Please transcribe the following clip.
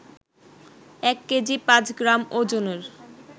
এক কেজি পাঁচ গ্রাম ওজনের